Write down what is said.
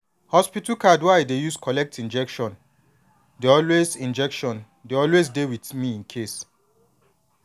hospital card wey i dey use collect injection dey always injection dey always dey with me incase